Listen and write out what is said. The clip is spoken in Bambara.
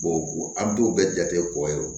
an b'u bɛɛ jate kɔ yen nɔ